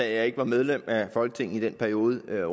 jeg ikke var medlem af folketinget i den periode herre